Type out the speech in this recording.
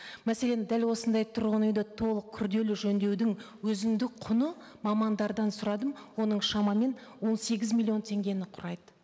мәселен дәл осындай тұрғын үйді толық күрделі жөндеудің өзіндік құны мамандардан сұрадым оның шамамен он сегіз миллион теңгені құрайды